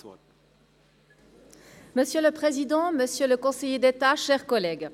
Ich erteile der Motionärin, Grossrätin Graber, das Wort.